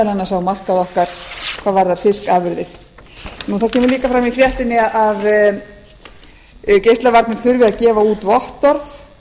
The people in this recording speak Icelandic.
annars á markað okkar hvað varðar fiskafurðir svo kemur líka fram í fréttinni að geislavarnir þurfi að gefa út vottorð